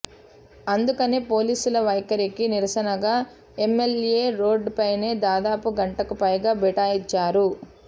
అందుకనే పోలీసుల వైఖరికి నిరసనగా ఎంఎల్ఏ రోడ్డుపైనే దాదాపు గంటకుపైగా బైఠాయించారు